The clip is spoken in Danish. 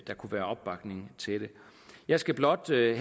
kunne være opbakning til det jeg skal blot til